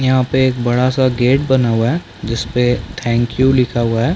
यहाँ पे एक बड़ा- सा गेट बना हुआ है जिस पे थैंक यू लिखा हुआ हैं।